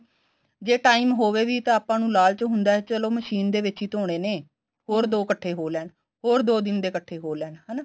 ਜੇ time ਹੋਵੇ ਵੀ ਤਾਂ ਆਪਾਂ ਨੂੰ ਲਾਲਚ ਹੁੰਦਾ ਵੀ ਚਲੋ ਮਸ਼ੀਨ ਦੇ ਵਿੱਚ ਹੀ ਧੋਣੇ ਨੇ ਹੋਰ ਦੋ ਇੱਕਠੇ ਹੋ ਲੈਣ ਹੋਰ ਦੋ ਦਿਨ ਦੇ ਇੱਕਠੇ ਹੋ ਲੈਣ ਹਨਾ